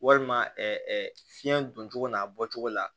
Walima fiɲɛ doncogo n'a bɔcogo la